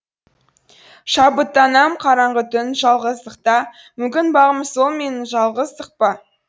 шабыттанам қараңғы түн жалғыздықта мүмкін бағым сол менің жалғыздық па